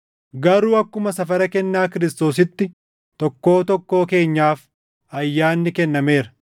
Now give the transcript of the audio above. Garuu akkuma safara kennaa Kiristoositti tokkoo tokkoo keenyaaf ayyaanni kennameera.